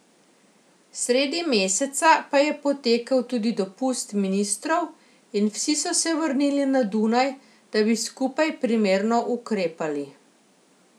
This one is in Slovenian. Sredi meseca pa je potekel tudi dopust ministrov in vsi so se vrnili na Dunaj, da bi skupaj primerno ukrepali.